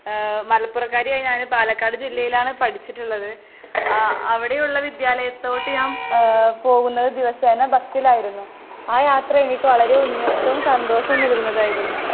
ഏ മലപ്പുറംകാരിയായ ഞാന് പാലക്കാട് ജില്ലയിലാണ് പഠിച്ചിട്ട്ള്ളത്. ആ അവടെയുള്ള വിദ്യാലയത്തോട്ട് ഞാൻ ഏ പോകുന്നത് ദിവസേന ബസ്സിലായിരുന്നു. ആ യാത്ര എനിക്ക് വളരെ ഉന്മേഷവും സന്തോഷവും നൽകുന്നതായിരുന്നു.